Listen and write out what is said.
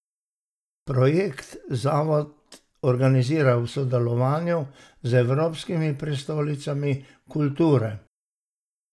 Projekt zavod organizira v sodelovanju z evropskimi prestolnicami kulture.